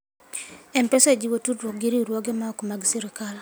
M-Pesa jiwo tudruok gi riwruoge maok mag sirkal.